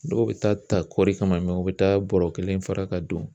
Dɔw bɛ taa ta kɔɔri kama u bɛ taa bɔrɔ kelen fara ka don